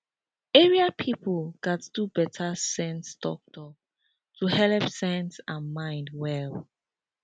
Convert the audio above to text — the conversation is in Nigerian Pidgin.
area people gats do better sense talktalk to helep sense and mind well